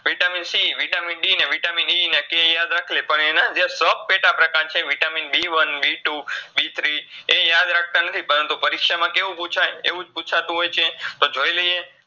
VitaminCVitaminE ને K યાદ રાખીલે પણ એનાજે VitaminBONEBTWOBTHREE પરીક્ષામાં એવુજ પૂછતું હોયછે તો જોઇલાઈએ